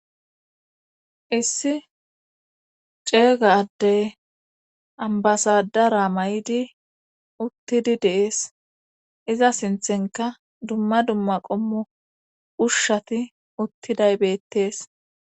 Issi ceega addey ambasadara may7idi uttidi dees iza sinthenka dumma dumma qommo ushshati uttidaybettees